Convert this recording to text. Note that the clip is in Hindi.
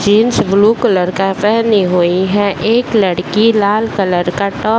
जीन्स ब्लू कलर का पेहनी हुई है एक लड़की लाल कलर का टॉप --